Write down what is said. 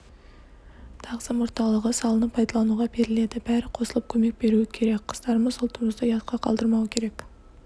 тағзым орталығы салынып пайдалануға беріледі бәрі қосылып көмек беруі керек қыздарымыз ұлтымызды ұятқа қалдырмауы керек